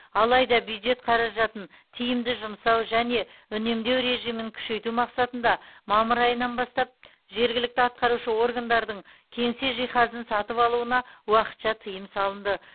алайда бюджет қаражатын тиімді жұмсау және үнемдеу режимін күшейту мақсатында мамыр айынан бастап жергілікті атқарушы органдардың кеңсе жиһазын сатып алуына уақытша тыйым салынды